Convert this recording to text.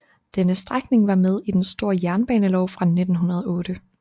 Denne strækning var med i den store jernbanelov fra 1908